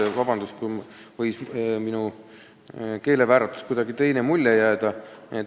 Palun vabandust, kui minu keelevääratusest võis teine mulje jääda.